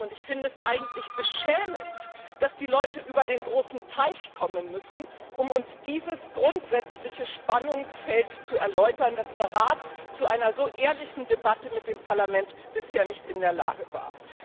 Ich finde es eigentlich beschämend, dass erst die Leute über den großen Teich kommen müssen, um uns dieses grundsätzliche Spannungsfeld zu erläutern, und dass der Rat zu so einer ehrlichen Debatte mit dem Parlament bisher nicht in der Lage war.